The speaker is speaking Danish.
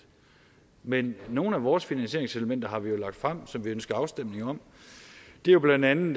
men nogle af vores finansieringselementer har vi jo lagt frem som vi ønsker afstemning om det er jo bla at man